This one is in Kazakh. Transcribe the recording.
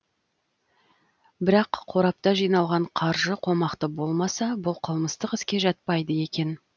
бірақ қорапта жиналған қаржы қомақты болмаса бұл қылмыстық іске жатпайды екен